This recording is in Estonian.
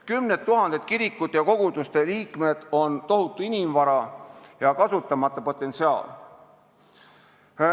Kümned tuhanded kirikute ja koguduste liikmed on tohutu inimvara ja kasutamata potentsiaal.